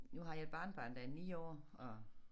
Nu har jeg et barnebarn der er 9 år og